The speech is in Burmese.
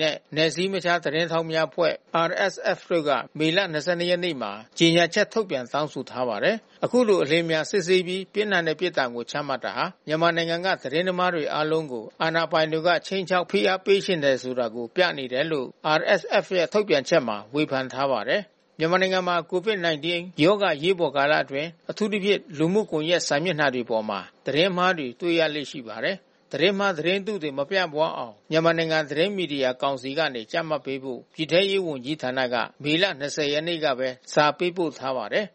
နဲ့ နယ်စည်းမခြား သတင်းထောက်များအဖွဲ့ တို့က မေလ ၂၂ ရက်နေ့မှာ ကြေညာချက်ထုတ်ပြန် တောင်းဆိုထားပါတယ်။ အခုလို အလျင်အမြန်စစ်ဆေးပြီး ပြင်းထန်တဲ့ပြစ်ဒဏ် ချမှတ်တာဟာ မြန်မာနိုင်ငံက သတင်းသမားတွေ အားလုံးကို အာဏာပိုင်တွေက ခြိမ်းခြောက် ဖိအားပေးချင်တယ်ဆိုတာ ပြနေတယ်လို့ RSF ရဲ့ ထုတ်ပြန်ချက်မှာ ဝေဖန်ထားပါတယ်။ မြန်မာနိုင်ငံမှာ COVID-19 ရောဂါ အရေးပေါ်ကာလအတွင်း အထူးသဖြင့် လူမှုကွန်ရက် စာမျက်နှာတွေပေါ်မှာ သတင်းမှားတွေ တွေ့ရလေ့ရှိပါတယ်။ သတင်းမှား၊ သတင်းတုတွေ မပြန့်အောင် မြန်မာနိုင်ငံ သတင်းမီဒီယာကောင်စီက ကြပ်မတ်ပေးဖို့ ပြည်ထဲရေးဝန်ကြီးဌာနက မေလ ၂၀ ရက်နေ့ကပဲ စာပေးပို့ထားပါတယ်